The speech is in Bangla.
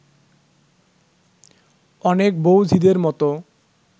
অনেক বউ-ঝিদের মতো